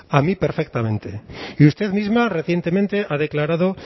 a mí perfectamente y usted misma recientemente ha declarado